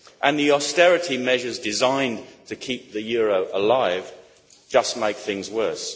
The austerity measures designed to keep the euro alive just make things worse.